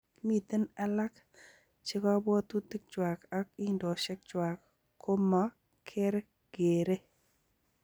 Miten alaak chekobwotutik chwang ag indosiek chwang komakergerei.